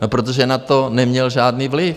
No protože na to neměl žádný vliv.